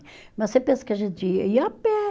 Mas você pensa que a gente e ia a pé.